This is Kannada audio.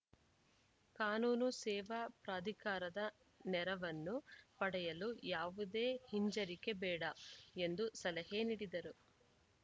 ಕಾನೂನು ಸೇವಾ ಪ್ರಾಧಿಕಾರದ ನೆರವನ್ನು ಪಡೆಯಲು ಯಾವುದೇ ಹಿಂಜರಿಕೆ ಬೇಡ ಎಂದು ಸಲಹೆ ನೀಡಿದರು